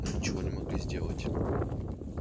мы ничего не могли сделать